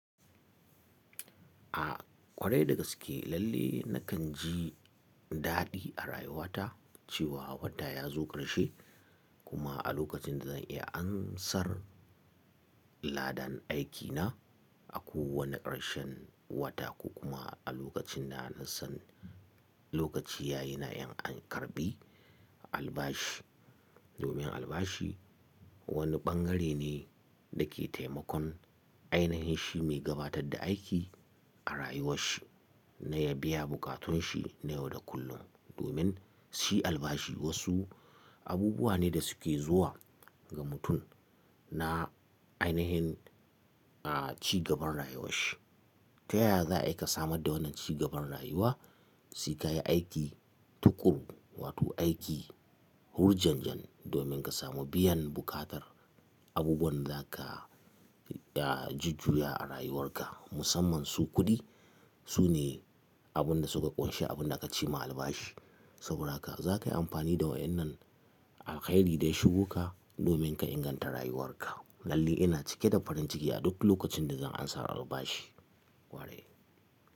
A kwarai dagaske lalle nakan ji daɗi a rayuwata cewa wata ya zo ƙarshe kuma a lokacin da zan iya ansar ladan aikina. A kowane ƙarshen wata ko kuma a lokacin da na san lokaci yayi na in karɓi albashi. Domin albashi wani ɓangare ne da ke taimakon ainahin shi mai gabatar da aiki a rayuwarshi na ya biya bukatunshi na yau da kullum. Domin shi albashi wasu abubuwa ne da suke zuwa ga mutum na ainihin, a cigaban rayuwarshi. Toyaza ai ka samar da wannan cigaban rayuwa, sai ka yi aiki tuƙuru wato aiki hurjanjan domin ka samu biyan buƙatar abubuwan da za ka jijjuya a rayuwarka musamman su kuɗi. Sune abun da suka ƙunshi abun da aka ce ma albashi. Saboda haka za ka yi amfani da wayannan a alkairi da ya shugoka domin ka inganta rayuwarka. Lalle ina cike da farin ciki a duk lokacin da zan ansar albashi. Ware.